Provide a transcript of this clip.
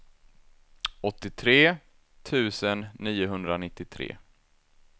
åttiotre tusen niohundranittiotre